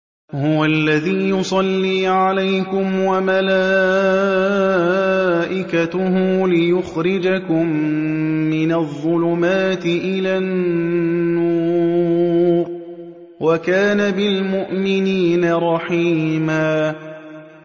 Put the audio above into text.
هُوَ الَّذِي يُصَلِّي عَلَيْكُمْ وَمَلَائِكَتُهُ لِيُخْرِجَكُم مِّنَ الظُّلُمَاتِ إِلَى النُّورِ ۚ وَكَانَ بِالْمُؤْمِنِينَ رَحِيمًا